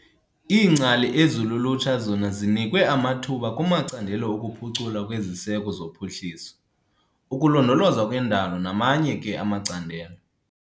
Iingcali ezi lulutsha zona zinikwe amathuba kumacandelo okuphuculwa kweziseko zophuhliso, ukulondolozwa kwendalo namanye ke amacandelo.